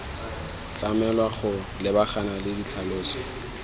tlamelwa go lebagana le ditlhaloso